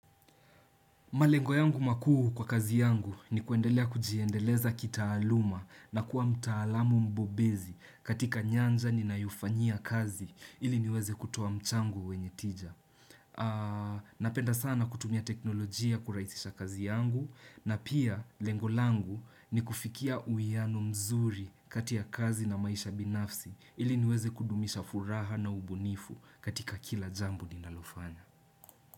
Malengo yangu makuhuu kwa kazi yangu ni kuendelea kujiendeleza kitaaluma na kuwa mtaalamu mbobezi katika nyanja ni nayufania kazi ili niweze kutuwa mchangu wenye tija. Napenda sana kutumia teknolojia kurahisisha kazi yangu na pia lengo langu ni kufikia uiano mzuri kati ya kazi na maisha binafsi ili niweze kudumisha furaha na ubunifu katika kila jambu ninalofanya.